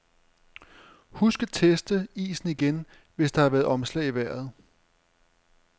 Husk at teste isen igen, hvis der har været omslag i vejret.